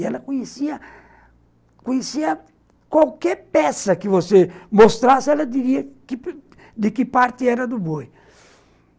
E ela conhecia conhecia qualquer peça que você mostrasse, ela diria de que parte era do boi.